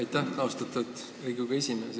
Aitäh, austatud Riigikogu esimees!